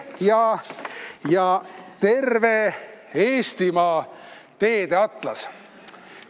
Ja on ka terve Eestimaa teede atlas.